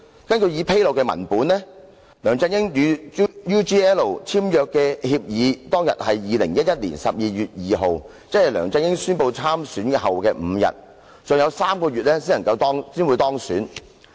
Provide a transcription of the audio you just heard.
根據已披露的文本，梁振英與 UGL 簽訂協議當日是2011年12月2日，即梁振英宣布參選後的5天，他尚有3個月才當選。